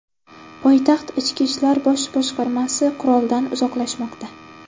Poytaxt ichki ishlar bosh boshqarmasi quroldan uzoqlashmoqda.